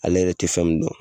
Ale yɛrɛ tɛ fɛn min dɔn